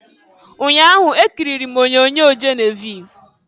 Nnyaa ahụ, ekiriri m onyoonyo Geneviv.